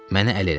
Mənə əl elədi.